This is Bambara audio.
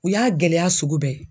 U y'a gɛlɛya sugu bɛɛ ye.